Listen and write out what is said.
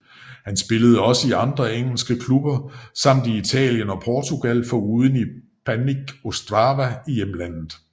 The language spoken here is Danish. Han spillede også i andre engelske klubber samt i Italien og Portugal foruden i Banik Ostrava i hjemlandet